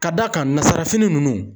Ka d'a kan nazsara fini ninnu